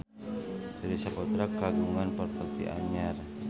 Surya Saputra kagungan properti anyar